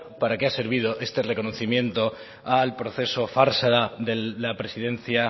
para qué ha servido este reconocimiento al proceso farsa de la presidencia